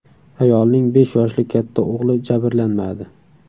Ayolning besh yoshli katta o‘g‘li jabrlanmadi.